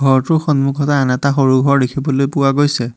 ঘৰটোৰ সন্মুখত আন এটা সৰু ঘৰ দেখিবলৈ পোৱা গৈছে।